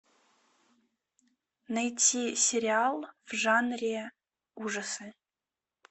найти сериал в жанре ужасы